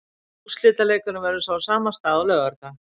Úrslitaleikurinn verður svo á sama stað á laugardag.